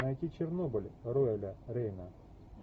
найти чернобыль роэля рейна